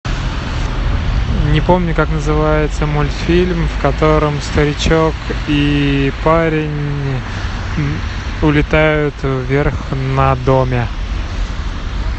не помню как называется мультфильм в котором старичок и парень улетают вверх на доме